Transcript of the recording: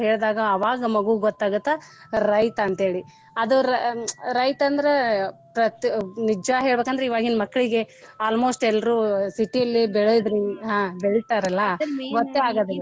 ಹೇಳಿದಾಗ ಅವಾಗ ಆ ಮಗುಗ ಗೊತ್ತ ಆಗುತ್ತ ರೈತ ಅಂತ ಹೇಳಿ ಅದ ರೈತ ಅಂದ್ರ ನಿಜಾ ಹೇಳ್ಬೇಕ ಇವಾಗಿನ ಮಕ್ಳಿಗೆ almost ಎಲ್ರು city ಲಿ ಬೆಳದ್ರು ಬೆಳಿತಾರಲ್ಲಾ ಗೊತ್ತ ಆಗೋದಿಲ್ಲಾ .